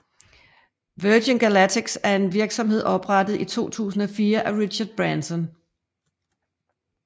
Virgin Galactic er en virksomhed oprettet i 2004 af Richard Branson